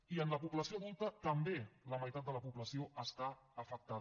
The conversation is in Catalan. i en la població adulta també la meitat de la població està afectada